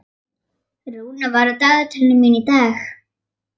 Rúnar, hvað er á dagatalinu mínu í dag?